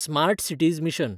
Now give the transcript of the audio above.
smart cities mission